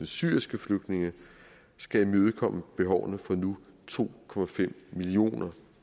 syriske flygtninge skal imødekomme behovene fra nu to millioner